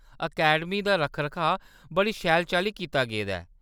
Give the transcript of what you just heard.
Academy दा रक्ख-रखाऽ बड़ी शैल चाल्ली कीता गेदा ऐ।